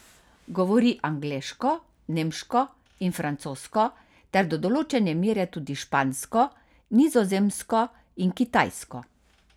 Govori angleško, nemško in francosko ter do določene mere tudi špansko, nizozemsko in kitajsko.